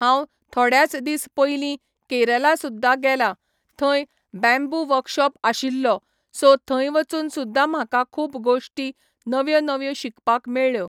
हांव थोड्याच दीस पयलीं केरला सुद्धा गेलां, थंय बॅम्बू वर्कशोप आशिल्लो, सो थंय वचून सुद्धा म्हाका खूब गोश्टी नव्यो नव्यो शिकपाक मेळ्ळ्यो.